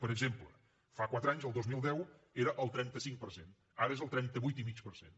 per exemple fa quatre anys el dos mil deu era el trenta cinc per cent ara és el trenta vuit coma cinc per cent